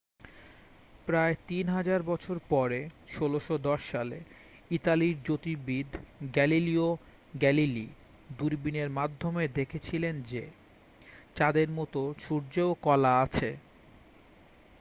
প্রায় তিন হাজার বছর পরে 1610 সালে ইতালীয় জ্যোতির্বিদ গ্যালিলিও গ্যালিলি দূরবীনের মাধ্যমে দেখেছিলেন যে চাঁদের মতো সূর্যেরও কলা আছে